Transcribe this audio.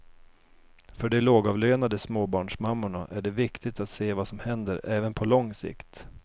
För de lågavlönade småbarnsmammorna är det viktigt att se vad som händer även på lång sikt.